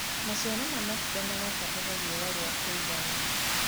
maciaro ma matunda marabatara riũa ria kũigana